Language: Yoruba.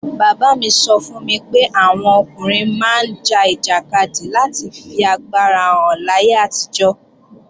Bàbá mi sọ fún mi pé àwọn ọkùnrin máa ń ja ìjàkadì láti fi agbára hàn láyé àtijọ́